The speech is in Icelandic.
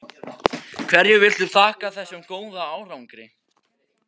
Hverju viltu þakka þessum góða árangri?